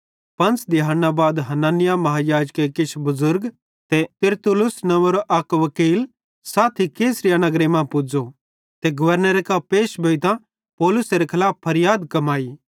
पंच़े दिहैड़ना बाद हनन्याह महायाजके किछ बुज़ुर्ग ते तिरतुल्लुस नंव्वेरो वकील साथी कैसरिया नगरे मां पुज़े ते गवर्नरे कां पैश भोइतां पौलुसेरां खलाफ फरयाद कमाई